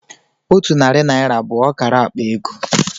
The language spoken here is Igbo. Otu narị naira bụ ọkara akpa ego.